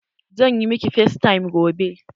Zan yi miki facetime gobe.